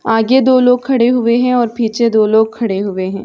आगे दो लोग खड़े हुए हैं और पीछे दो लोग खड़े हुए हैं |